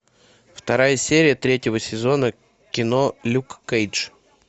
вторая серия третьего сезона кино люк кейдж